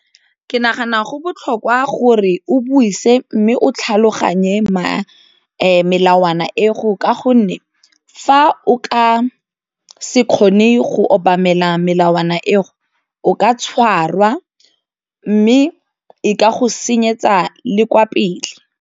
Ke nagana go botlhokwa gore o buise mme o tlhaloganye melawana ego ka gonne fa o ka se kgone go obamela melawana eo o ka tshwarwa mme e ka go senyetsa le kwa pele.